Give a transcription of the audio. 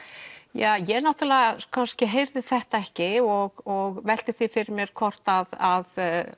ja ég heyrði þetta ekki og velti því fyrir mér hvort að